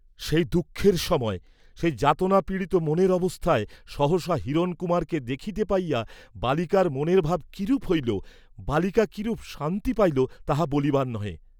সেই দুঃখের সময়, সেই যাতনা পীড়িত মনের অবস্থায় সহসা হিরণকুমারকে দেখিতে পাইয়া বালিকার মনের ভাব কিরূপ হইল, বালিকা কিরূপ শান্তি পাইল, তাহা বলিবার নহে।